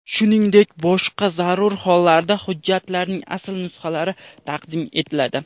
shuningdek boshqa zarur hollarda hujjatlarning asl nusxalari taqdim etiladi.